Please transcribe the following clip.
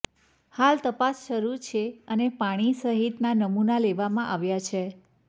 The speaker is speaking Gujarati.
હાલ તપાસ શરૃ છે અને પાણી સહિતના નમુના લેવામાં આવ્યા છે